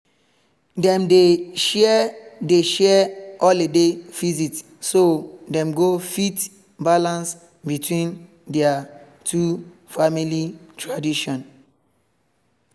dem dey share dey share holiday visit so dem go fit balance between their two family tradition